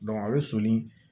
a bɛ soni